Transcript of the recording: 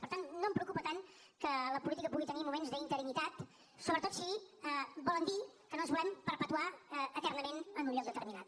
per tant no em preocupa tant que la política pugui tenir moments d’interinitat sobretot si volen dir que no ens volem perpetuar eternament en un lloc determinat